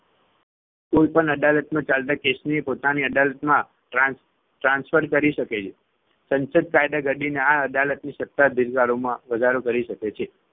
કોઈપણ અદાલતમાં ચાલતા case ને પોતાની અદાલતમાં trans transfer કરી શકે છે. સંસદ કાયદા ઘડીને આ અદાલતની સત્તાધિકારોમાં વધારો કરી શકે છે.